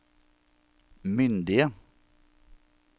myndige